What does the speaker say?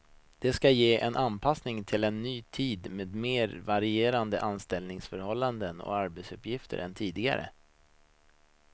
Det ska ge en anpassning till en ny tid med mer varierande anställningsförhållanden och arbetsuppgifter än tidigare.